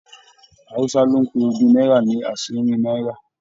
Hausa lo n pe ogún náírà ní asinrin náírà.